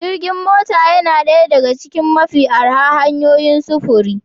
Jirgin mota yana ɗaya daga cikin mafi arha hanyoyin sufuri